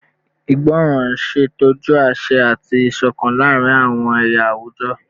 Ìgbọràn n ṣetọju aṣẹ ati isokan laarin awọn ẹya awujọ